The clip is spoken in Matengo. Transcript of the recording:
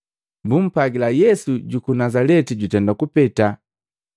Bumpwagila, “Yesu juku Nazaleti jutenda kupeta.”